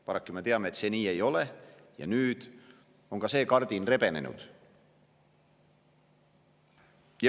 Paraku me teame, et nii see ei ole, ja nüüd on see kardin rebenenud.